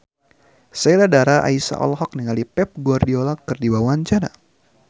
Sheila Dara Aisha olohok ningali Pep Guardiola keur diwawancara